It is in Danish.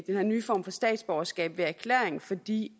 den her nye form for statsborgerskab ved erklæring fordi